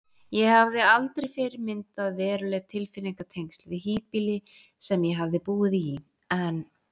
Ég hafði aldrei fyrr myndað veruleg tilfinningatengsl við híbýli sem ég hafði búið í, en